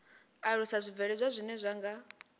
alusa zwibveledzwa zwine zwa nga